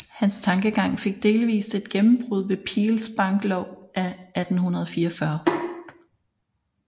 Hans tankegang fik delvist et gennembrud ved Peels banklov af 1844